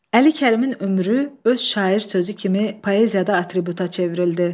Əli Kərimin ömrü öz şair sözü kimi poeziyada atributa çevrildi.